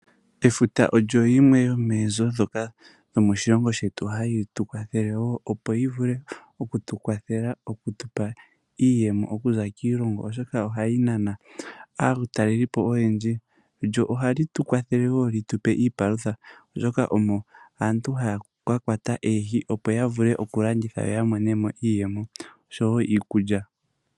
Efuta olyo limwe lyomoonzo dhomoshilongo shetu hayi tukwathele woo opo yivule oku tukwathele iiyemo okuza kiilongo oshoka ohali nana aatalelipo oyendji . Ohali tukwatha woo oku tupa iipalutha mbyoka omo aantu haya kakwata oohi opo yavule okulanditha yamonemo iiyemo oshowo iikulya.